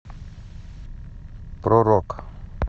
про рок